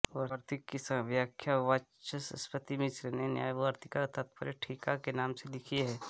वार्तिक की व्याख्या वाचस्पति मिश्र ने न्यायवार्तिक तात्पर्य ठीका के नाम से लिखी है